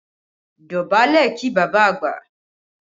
Dọ̀bálẹ̀ kí bàbá àgbà!